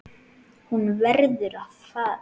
Hún verður að fara.